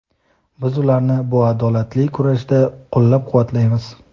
Biz ularni bu adolatli kurashda qo‘llab-quvvatlaymiz.